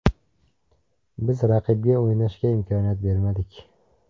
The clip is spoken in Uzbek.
Biz raqibga o‘ynashga imkoniyat berdik.